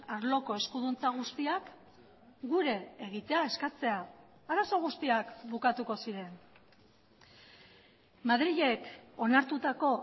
arloko eskuduntza guztiak gure egitea eskatzea arazo guztiak bukatuko ziren madrilek onartutako